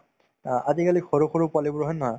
অ, আজিকালি সৰু সৰু পোৱালিবোৰ হয় নে নহয়